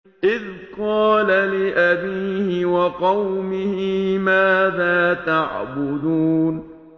إِذْ قَالَ لِأَبِيهِ وَقَوْمِهِ مَاذَا تَعْبُدُونَ